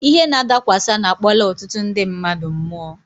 Ihe nadakwasa na-akpọla ọtụtụ ndị mmadụ mụọ.